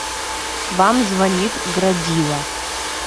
вам звонит градива